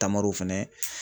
Taamaro fɛnɛ.